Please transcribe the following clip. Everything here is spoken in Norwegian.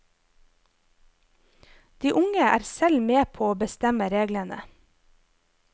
De unge er selv med på å bestemme reglene.